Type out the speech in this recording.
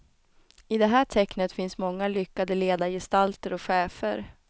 I det här tecknet finns många lyckade ledargestalter och chefer.